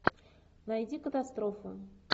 найди катастрофу